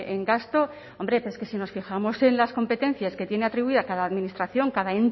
en gasto hombre pero es que si nos fijamos en las competencias que tiene atribuida cada administración cada